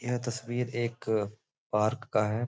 यह तस्वीर एक पार्क का है।